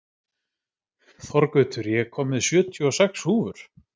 Þorgautur, ég kom með sjötíu og sex húfur!